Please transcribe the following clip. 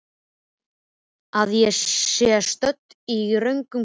Að ég sé stödd í röngum klefa?